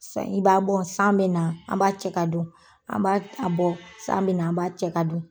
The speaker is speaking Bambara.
San ji b'a bɔ, san bɛ na an b'a cɛ ka don, an b'a a bɔ san bɛ na an b'a cɛ ka don.